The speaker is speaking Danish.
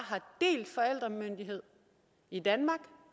delt forældremyndighed i danmark